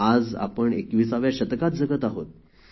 आज आपण २१व्या शतकात जगत आहोत